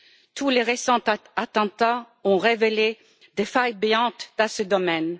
Tous les récents attentats ont révélé des failles béantes dans ce domaine.